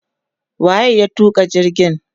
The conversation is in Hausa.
wa ye ya tuka jirgin?